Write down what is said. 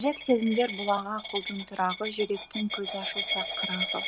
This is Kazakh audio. жүрек сезімдер бұлағы ақылдың тұрағы жүректің көзі ашылса қырағы